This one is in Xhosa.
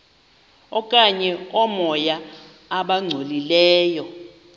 okanye oomoya abangcolileyo